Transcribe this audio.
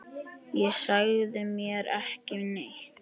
Og sagðir mér ekki neitt!